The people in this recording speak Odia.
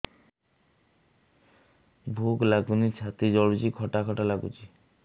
ଭୁକ ଲାଗୁନି ଛାତି ଜଳୁଛି ଖଟା ଖଟା ଲାଗୁଛି